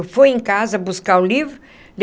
Foi em casa buscar o livro.